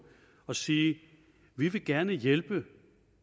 og sige vi vil gerne hjælpe